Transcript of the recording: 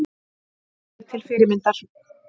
Alveg til fyrirmyndar